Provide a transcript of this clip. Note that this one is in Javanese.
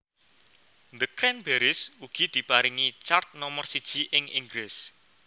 The Cranberries ugi diparingi chart nomor siji ing Inggris